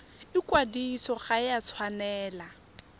ikwadiso ga e a tshwanela